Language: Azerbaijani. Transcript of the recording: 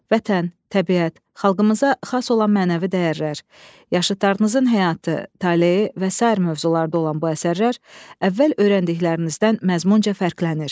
Vətən, təbiət, xalqımıza xas olan mənəvi dəyərlər, yaşıtlarınızın həyatı, taleyi və sair mövzularda olan bu əsərlər əvvəl öyrəndiklərinizdən məzmunca fərqlənir.